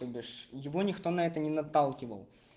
то бишь его никто на это не наталкивал